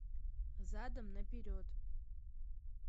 задом наперед